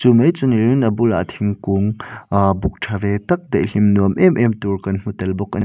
chu mai chu ni in a bulah thingkung aah buk tha ve tak daihlim nuam em em tur kan hmu tel bawk a ni.